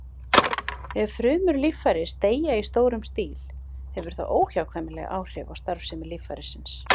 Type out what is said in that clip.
Ef frumur líffæris deyja í stórum stíl hefur það óhjákvæmilega áhrif á starfsemi líffærisins.